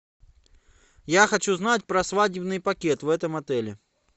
я хочу знать про свадебный пакет в этом отеле